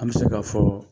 An bɛ se ka fɔ